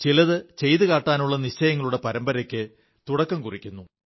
ചിലതു ചെയ്തു കാട്ടാനുള്ള നിശ്ചയങ്ങളുടെ പരമ്പരയ്ക്ക് തുടക്കം കുറിക്കുന്നു